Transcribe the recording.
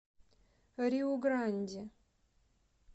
риу гранди